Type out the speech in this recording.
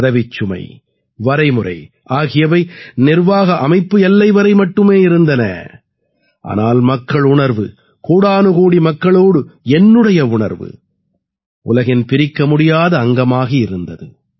பதவிச்சுமை வரைமுறை ஆகியவை நிர்வாக அமைப்பு எல்லை வரை மட்டுமே இருந்தன ஆனால் மக்களுணர்வு கோடானுகோடி மக்களோடு என்னுடைய உணர்வு உலகின் பிரிக்க முடியாத அங்கமாகி இருந்தது